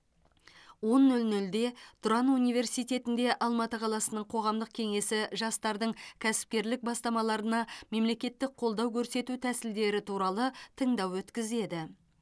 он нөл нөлде тұран университетінде алматы қаласының қоғамдық кеңесі жастардың кәсіпкерлік бастамаларына мемлекеттік қолдау көрсету тәсілдері туралы тыңдау өткізеді